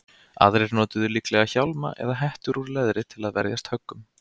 aðrir notuðu líklega hjálma eða hettur úr leðri til að verjast höggum